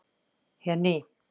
Jenný